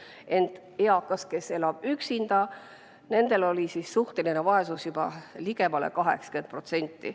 Ent eakate puhul, kes elavad üksinda, oli suhteline vaesus juba ligemale 80%.